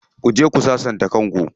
Ku je ku sassanta kan ku.